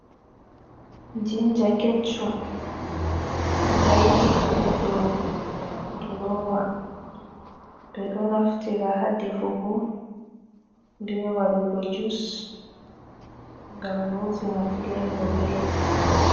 Jinja keccum, ɗo tayti haa dow duroowa, ɓe ɗo naftira haa defugo, bee wadɗugo jus, ngam rosina fileevo belɗum.